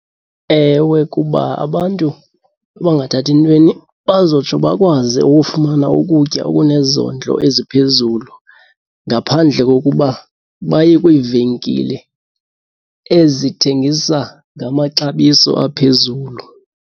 Ewe, kuba abantu abangathathi ntweni bazotsho bakwazi ukufumana ukutya okunezondlo eziphezulu ngaphandle kokuba baye kwiivenkile ezithengisa ngamaxabiso aphezulu.